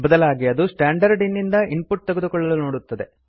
ಬದಲಾಗಿ ಅದು standard in ನಿಂದ ಇನ್ ಪುಟ್ ತೆಗೆದುಕೊಳ್ಳಲು ನೋಡುತ್ತದೆ